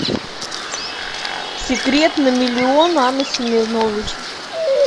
секрет на миллион анна семенович